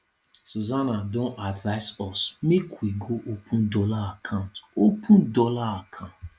susana don advise us make we go open dollar account open dollar account